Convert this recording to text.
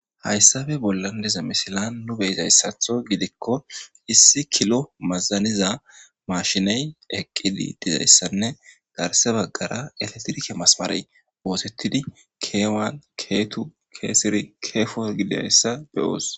Haysape bolan diza missilan de'izaysato gidiko issi kilo mazaniza mashiney eqidi dizaysanne garsa bagara elektirike masimare osetidi kewan ketu kesiri kefor gidaysa be'os.